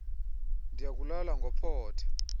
ndaya kulala ngophothe